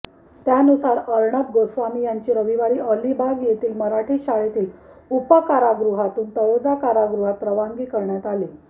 त्यानुसार अर्णब गोस्वामी यांची रविवारी अलिबाग येथील मराठी शाळेतील उपकारागृहातून तळोजा कारागृहात रवानगी करण्यात आली